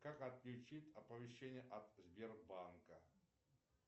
как отключить оповещения от сбербанка